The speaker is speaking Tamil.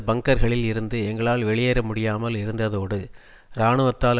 பங்கர்களில் இருந்து எங்களால் வெளியேற முடியாமல் இருந்ததோடு இராணுவத்தால்